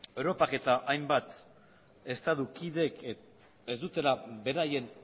europak eta hainbat estatu kideek ez dutela beraien